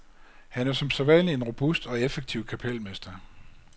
Han er som sædvanlig en robust og effektiv kapelmester.